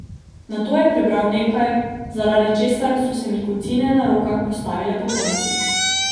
Nato je prebral nekaj, zaradi česar so se mi kocine na rokah postavile pokonci.